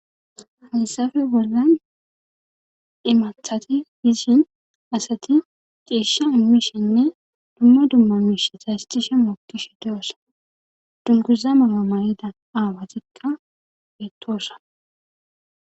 hessafe worgan imathati hishin asati ceesha mishenne dumma dumma miishe saystishe mookkish deyosa dunguza malamayida aawatikka beettoosa